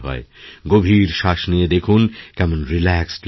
গভীর শ্বাস নিয়ে দেখুন কেমন রিল্যাক্সড লাগে